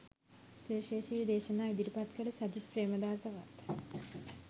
සුවිශේෂී දේශනා ඉදිරිපත් කළ සජිත් ප්‍රේමදාසවත්